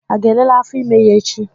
A ga elele afọ ímé ya echi?